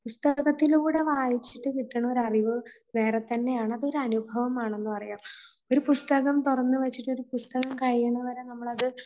പുസ്തകത്തിലൂടെ വായിച്ചിട്ട് കിട്ടണ ഒരു അറിവ് വേറെ തന്നെ ആണ്. അത് ഒരു അനുഭവമാണെന്ന് പറയാം. ഒരു പുസ്തകം തുറന്നു വച്ചിട്ട് ഒരു പുസ്തകം കഴിയുന്നതുവരെ നമ്മളത്